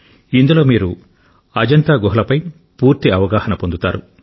ఇందులో మీరు అజంతా గుహల పూర్తి అవగాహన పొందుతారు